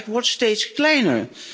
En die fuik wordt steeds kleiner.